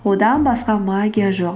одан басқа магия жоқ